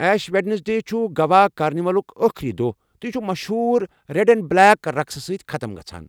ایش Wednesday چُھ گوا کارنہِ ولُک ٲخری دۄہ تہٕ یہِ چھُ مشہوٗر ریٚڑ اینڈ بٕلیک رقسہٕ سۭتۍ ختٕم گژھان۔